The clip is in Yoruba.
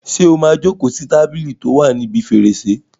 Ṣé o máa jókòó sí tábìlì tí ó wà níbi fèrèsé?